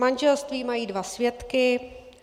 Manželství - mají dva svědky.